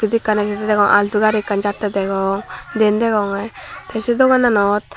eyot ekkan indi alto gari jatte degong diyen degonge te se dogananot.